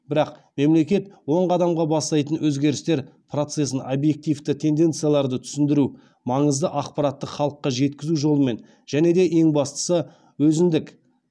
бірақ мемлекет оң қадамға бастайтын өзгерістер процесін объективті тенденцияларды түсіндіру маңызды ақпаратты халыққа жеткізу жолымен және де ең бастысы өзіндік